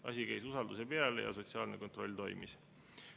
Asi käis usalduse põhjal ja sotsiaalne kontroll toimis.